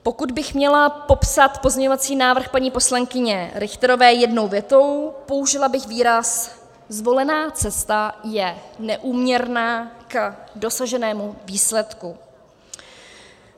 Pokud bych měla popsat pozměňovací návrh paní poslankyně Richterové jednou větou, použila bych výraz zvolená cesta je neúměrná k dosaženému výsledku.